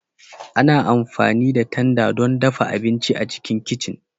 Ana amfani da tanda don dafa abinci a cikin kicin